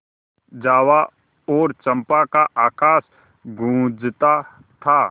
जावा और चंपा का आकाश गँूजता था